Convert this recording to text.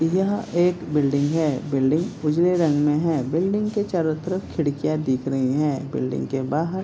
यह एक बिल्डिंग है बिल्डिंग उजले रंग में है बिल्डिंग के चारो तरफ खिड़कियाँ दिख रही हैं बिल्डिंग के बाहर --